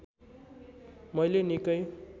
मैले निकै